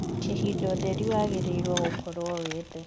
kihinda ũtherĩ wagiriirwo gũkorwo wi thii